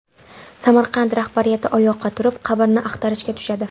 Samarqand rahbariyati oyoqqa turib, qabrni axtarishga tushadi.